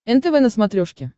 нтв на смотрешке